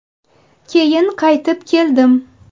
Keyin qaytib keldim.